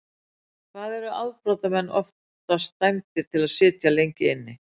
Hvað eru afbrotamenn oftast dæmdir til að sitja lengi inni?